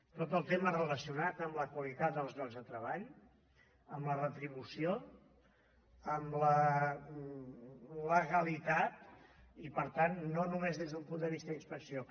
tot el tema relacionat amb la qualitat dels llocs de treball amb la retribució amb la legalitat i per tant no només des d’un punt de vista d’inspecció